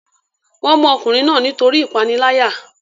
wọ́n mú ọkùnrin náà nítorí ìpániláyà